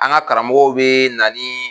An ka karamɔgɔw be na ni